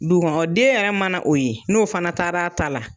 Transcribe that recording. Dugukɔnɔ den yɛrɛ mana o ye n'o fana taara a ta la